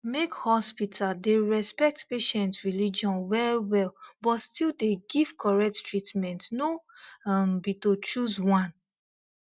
make hospital dey respect patient religion wellwell but still dey give correct treatment no um be to choose one